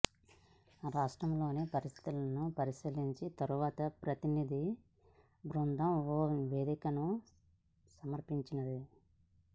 రాష్ట్రంలోని పరిస్థితులను పరిశీలించిన తర్వాత ప్రతినిధి బృందం ఓ నివేదిక సమర్పించనుంది